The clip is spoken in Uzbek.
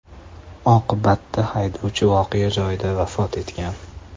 Oqibatda haydovchi voqea joyida vafot etgan.